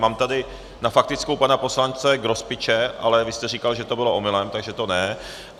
Mám tady na faktickou pana poslance Grospiče, ale vy jste říkal, že to bylo omylem, takže to ne.